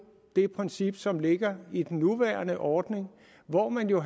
det princip som ligger i den nuværende ordning hvor man jo